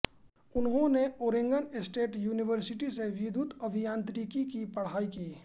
उन्होंने Oregon State University से विद्युत अभियांत्रिकी की पढ़ाई की